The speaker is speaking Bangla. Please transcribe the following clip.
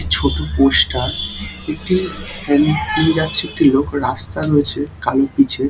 ছোট পোস্টার একটি যাচ্ছে একটি লোক রাস্তা রয়েছে কালি পিছে।